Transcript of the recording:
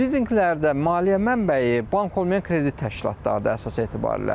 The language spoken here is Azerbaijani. Lizinqlərdə maliyyə mənbəyi bank olmayan kredit təşkilatlarıdır əsas etibarilə.